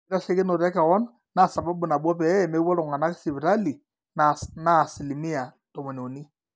ore enkitasheikinoto ekewon naa sababu nabo pee mepuo iltung'anak sipitali naa asilimia tomoniuni